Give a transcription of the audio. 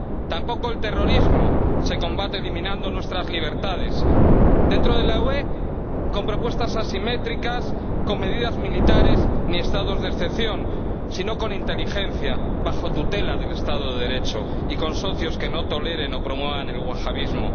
Tampoco el terrorismo se combate eliminando nuestras libertades dentro de la UE no se combate con propuestas asimétricas, con medidas militares o estados de excepción, sino con inteligencia, bajo la tutela del Estado de Derecho, y con socios que no toleren o promuevan el wahabismo